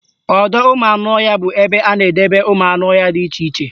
Ọdọụmụanụọhịa bụ ebe a na-edebe ụmụanụọhịa dị iche iche